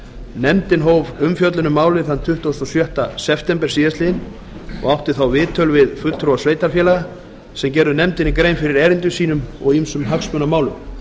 nefndin hóf umfjöllun um málið tuttugasta og sjötta september síðastliðinn og átti þá viðtöl við fulltrúa sveitarfélaga sem gerðu nefndinni grein fyrir erindum sínum og ýmsum hagsmunamálum